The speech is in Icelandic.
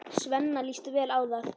Svenna líst vel á það.